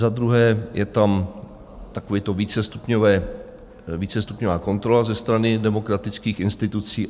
Za druhé je tam takové to vícestupňové... vícestupňová kontrola ze strany demokratických institucí.